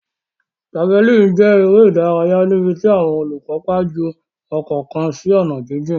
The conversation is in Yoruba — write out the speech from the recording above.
Javelin jẹ eré ìdárayá níbití àwọn olukopa jù okò kán sí onà jijìn.